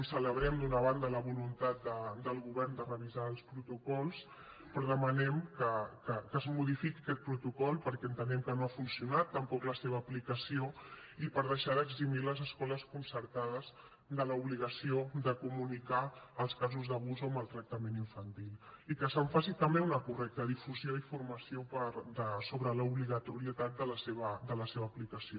celebrem d’una banda la voluntat del govern de revisar els protocols però demanem que es modifiqui aquest protocol perquè entenem que no ha funcionat tampoc la seva aplicació i per deixar d’eximir les escoles concertades de l’obligació de comunicar els casos d’abús o maltractament infantil i que se’n faci també una correcta difusió i formació sobre l’obligatorietat de la seva aplicació